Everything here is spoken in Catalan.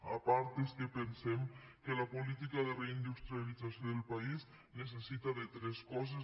a part és que pensem que la política de reindustrialització del país necessita tres coses